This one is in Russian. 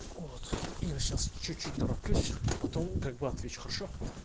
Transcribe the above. вот я сейчас чуть-чуть тороплюсь потом отвечу хорошо